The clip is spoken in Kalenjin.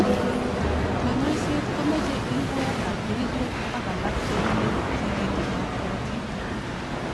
Kanyoiset komeche lukuet ab kerechek ak alak chebunei tikitik ab karotik.